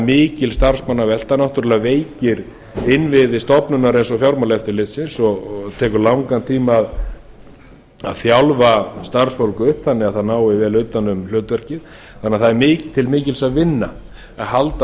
mikil starfsmannavelta veikir innviði stofnunar eins og fjármálaeftirlitsins og tekur langan tíma að þjálfa starfsfólk upp þannig að það nái vel utan um hlutverkið nema það er til mikils að vinna að halda